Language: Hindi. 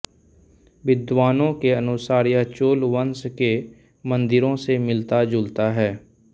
विद्वानों के अनुसार यह चोल वंश के मन्दिरों से मिलता जुलता है